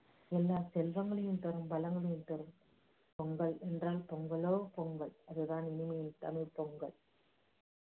எல்லா செல்வங்களையும் தரும் வளங்களையும் தரும் பொங்கல் என்றால் பொங்கலோ பொங்கல் அதுதான் தரும்.